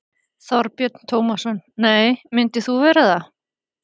Þorbjörn Tómasson: Nei, myndir þú vera það?